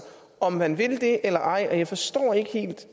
om man vil det eller ej og jeg forstår ikke helt